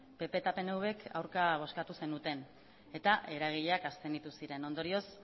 pp eta pnvk aurka bozkatu zenuten eta eragileak abstenitu ziren ondorioz